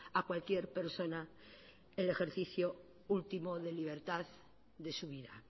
a cualquier persona el ejercicio último de libertad de su vida